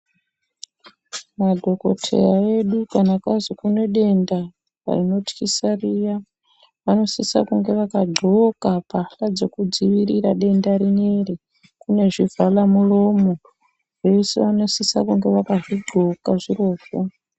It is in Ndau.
Madhokoteya edu kana kwazi kune denda rinotyisa riya vanosise kunge vakadxoka mbahhla dzekudzivirira denda rineri kune zvivhala mulomo vese vanosise kunge vakazvidxoka zvirozvo.